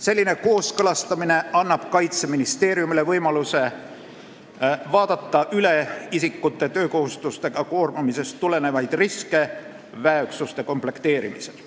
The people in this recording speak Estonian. Selline kooskõlastamine annab Kaitseministeeriumile võimaluse vaadata üle isikute töökohustustega koormamisest tulenevaid riske väeüksuste komplekteerimisel.